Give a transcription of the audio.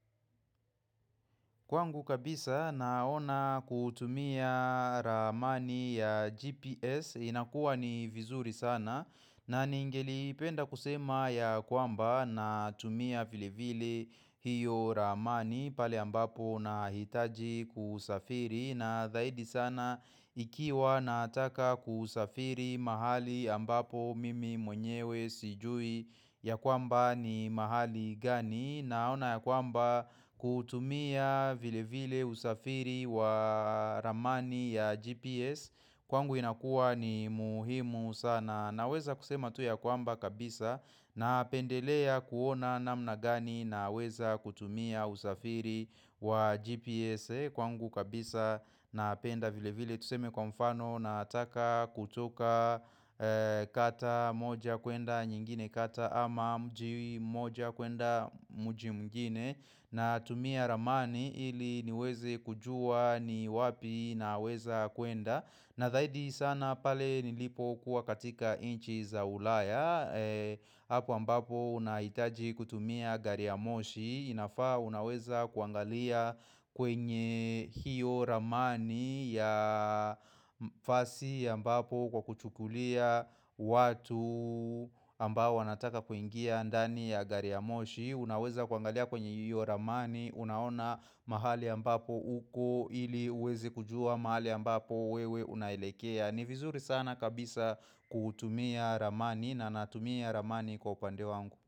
Kwangu kabisa naona kutumia ramani ya GPS inakuwa ni vizuri sana na ningelipenda kusema ya kwamba natumia vilevile hiyo ramani pale ambapo nahitaji kusafiri na dhaidi sana ikiwa nataka kusafiri mahali ambapo mimi mwenyewe sijui ya kwamba ni mahali gani, naona ya kwamba kutumia vilevile usafiri wa ramani ya GPS kwangu inakua ni muhimu sana. Naweza kusema tu ya kwamba kabisa napendelea kuona namna gani naweza kutumia usafiri wa GPS kwangu kabisa napenda vilevile tuseme kwa mfano nataka kutoka kata moja kuenda nyingine kata ama mji mmoja kuenda mji mwingine Natumia ramani ili niweze kujua ni wapi naweza kuenda, na zaidi sana pale nilipokuwa katika nchi za ulaya hapo ambapo nahitaji kutumia gari ya moshi, inafaa unaweza kuangalia kwenye hiyo ramani ya fasi ambapo Kwa kuchukulia watu ambao wanataka kuingia ndani ya gari ya moshi. Unaweza kuangalia kwenye hiyo ramani, Unaona mahali ambapo uko ili uweze kujua mahali ambapo wewe unaelekea. Ni vizuri sana kabisa kutumia ramani na natumia ramani kwa upande wangu.